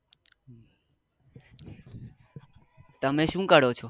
તમે શું કરો છો?